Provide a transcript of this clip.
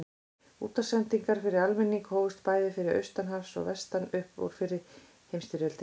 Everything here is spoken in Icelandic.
Útvarpssendingar til almennings hófust bæði austan hafs og vestan upp úr fyrri heimsstyrjöldinni.